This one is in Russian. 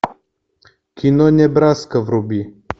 кино небраска вруби